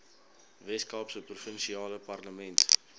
weskaapse provinsiale parlement